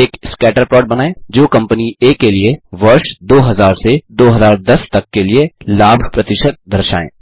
एक scatter plot बनाएँ जो कम्पनी आ के लिए वर्ष 2000 2010 तक के लिए लाभ प्रतिशत दर्शाए